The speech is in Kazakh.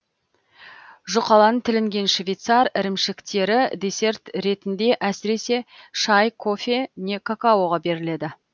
жұқалан тілінген швейцар ірімшіктері десерт ретінде әсіресе шай кофе не какаоға беріледі